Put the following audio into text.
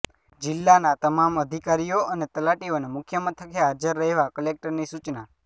જિલ્લાના તમામ અધિકારીઓ અને તલાટીઓને મુખ્ય મથકે હાજર રહેવા કલેક્ટરની સૂચના